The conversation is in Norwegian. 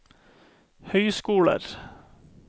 høyskoler